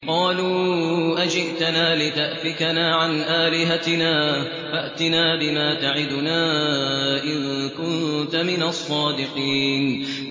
قَالُوا أَجِئْتَنَا لِتَأْفِكَنَا عَنْ آلِهَتِنَا فَأْتِنَا بِمَا تَعِدُنَا إِن كُنتَ مِنَ الصَّادِقِينَ